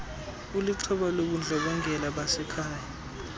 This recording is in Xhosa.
ulixhoba lobundlobongela basekhaya